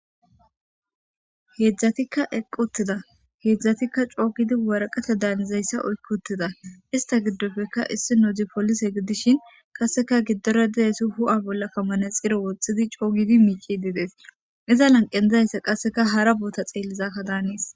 heedzdzatikka equtida heedzdzatikka coogidi waraqate daanizayssa oykkutida ista giddofeka issi nodzi polise gidishin qasseka giddore didesi hu7a bolla kamanexiro wothidi coogidi miici didees iza lanqe izayssa qasseka hara boota xeellizakka daanes